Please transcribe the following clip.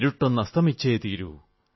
ഇരുട്ടെന്നതസ്തമിച്ചേ തീരൂ